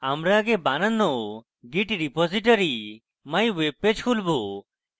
আমরা আগে বানানো git repository mywebpage খুলবো